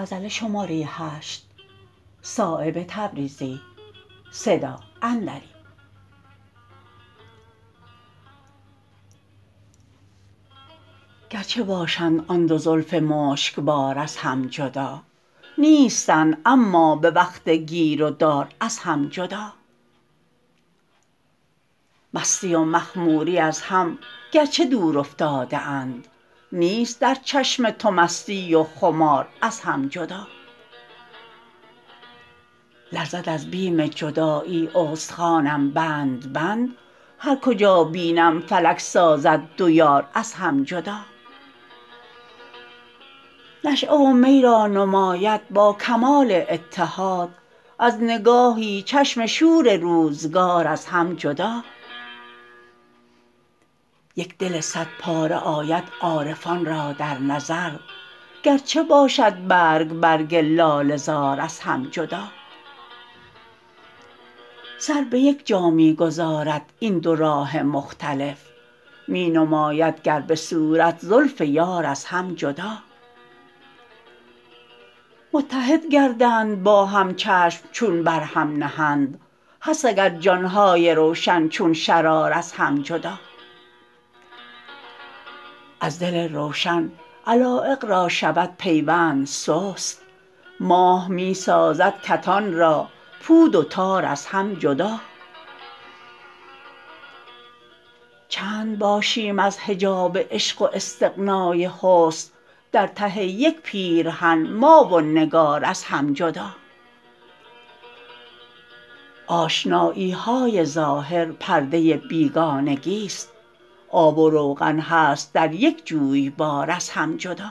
گرچه باشند آن دو زلف مشکبار از هم جدا نیستند اما به وقت گیر و دار از هم جدا مستی و مخموری از هم گرچه دور افتاده اند نیست در چشم تو مستی و خمار از هم جدا لرزد از بیم جدایی استخوانم بند بند هر کجا بینم فلک سازد دو یار از هم جدا نشأه و می را نماید با کمال اتحاد از نگاهی چشم شور روزگار از هم جدا یک دل صد پاره آید عارفان را در نظر گرچه باشد برگ برگ لاله زار از هم جدا سر به یک جا می گذارد این دو راه مختلف می نماید گر به صورت زلف یار از هم جدا متحد گردند با هم چشم چون بر هم نهند هست اگر جان های روشن چون شرار از هم جدا از دل روشن علایق را شود پیوند سست ماه می سازد کتان را پود و تار از هم جدا چند باشیم از حجاب عشق و استغنای حسن در ته یک پیرهن ما و نگار از هم جدا آشنایی های ظاهر پرد ه بیگانگی است آب و روغن هست در یک جویبار از هم جدا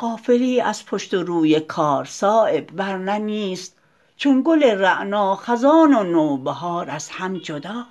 غافلی از پشت و روی کار صایب ورنه نیست چون گل رعنا خزان و نوبهار از هم جدا